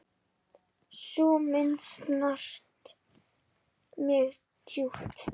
Sú mynd snart mig djúpt.